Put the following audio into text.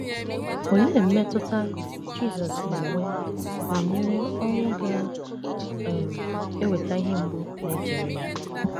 Olee mmetụta Jisọs na - enwe banyere ọnwụ ga - um eweta ihe mgbu na - echere ya?